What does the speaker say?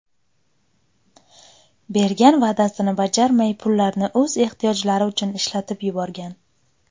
bergan va’dasini bajarmay pullarni o‘z ehtiyojlari uchun ishlatib yuborgan.